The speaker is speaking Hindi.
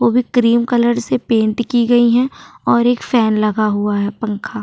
वो भी क्रीम कलर से पेंट की गई है और एक फॅन लगा हुआ है पंखा।